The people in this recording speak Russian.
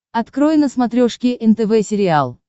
открой на смотрешке нтв сериал